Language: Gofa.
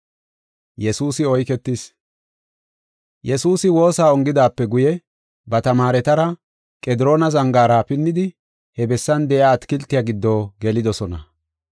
Yesuusi woosa ongidaape guye, ba tamaaretara Qediroona zangaara pinnidi, he bessan de7iya atakiltiya giddo gelidosona.